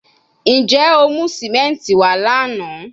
Njẹ o mu simenti wa lana?